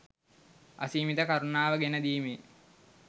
අසීමිත කරුණාව ගෙන දීමේ